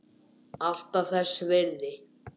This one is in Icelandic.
Alltaf þess virði.